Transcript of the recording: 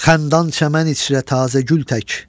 Xandan çəmən içrə tazə gül tək,